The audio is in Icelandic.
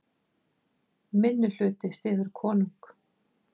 Minnihluti styður konung